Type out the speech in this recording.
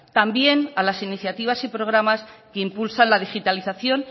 también a las iniciativas y programas que impulsan la digitalización